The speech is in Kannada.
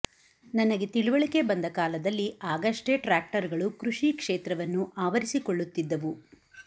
ನನಗೆ ತಿಳಿವಳಿಕೆ ಬಂದ ಕಾಲದಲ್ಲಿ ಆಗಷ್ಟೇ ಟ್ರ್ಯಾಕ್ಟರುಗಳು ಕೃಷಿ ಕ್ಷೇತ್ರವನ್ನು ಆವರಿಸಿಕೊಳ್ಳುತ್ತಿದ್ದವು